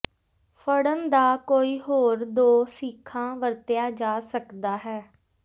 ਫੜਨ ਦਾ ਕੋਈ ਹੋਰ ਦੋ ਸੀਖਾ ਵਰਤਿਆ ਜਾ ਸਕਦਾ ਹੈ